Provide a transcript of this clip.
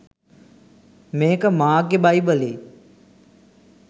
මේක මාක්ගෙ බයි‍බලේ